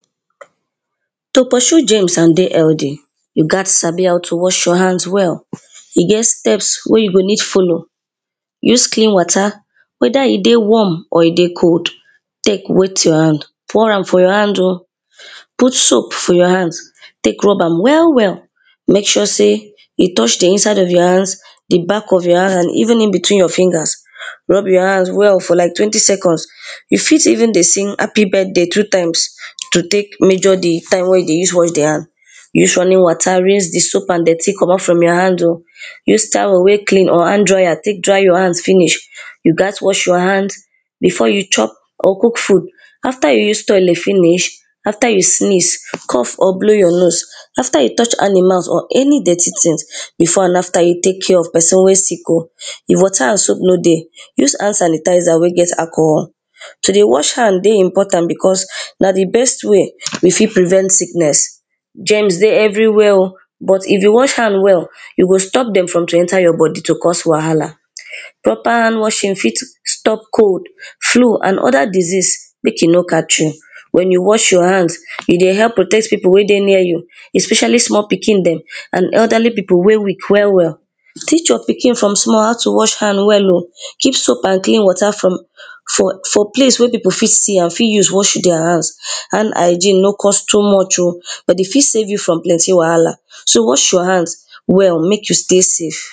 to pursue germs and dey healthy, you gat sabi how to wash your hands well. e get steps wey you go need follow, use clean water, wether e dey warm or e dey cold, tek wet your hand, pour am for your hand o, put soap for your hand, tek rub am well well, mek sure sey, e touch the inside of your hands, the back of ypur hand, and even inbetween of your fingers. rub your hand well, for like twenty seconds, e fit even dey sing happy birthday two times to tek measure the time wey you dey use wash the hand. use running water rinse the soap and dirty comot from your hand o, use towel wey clean or hand dryer tek dry your hand finish. you gat wash your hand, before you chop or cook food. after you use toilet finish, after you sneeze, cough or blow your nose, after you touch animals, or any dirty tings, before and after you tek care of person wey sick. if water and soap no dey, use hand sanitizer wey get alcohol. to dey wash hand dey important because, na the best way, we fit prevent sickness, germs dey everywhere o, but if you wash hand well, you go stop dem from to enter your body, to cause wahala. proper hand washing fit stop cold, flu, amnd other disease mek e no catch you. wen you watch your hand, e dey help protect pipo wey dey near you, especially small pikin dem and elderly pipo wey weak well well. teach your pikin from small how to wash hand well o, keep soap and clean water from, for, for place wey pipo fit see am, fit use wash deir hand. hand hygiene no cost too much o, but e fit save you from plenty wahala. so, wash your hands well, mek you stay safe.